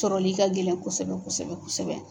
sɔrɔli ka gɛlɛn kosɛbɛ kosɛbɛ kosɛbɛ.